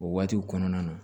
O waatiw kɔnɔna na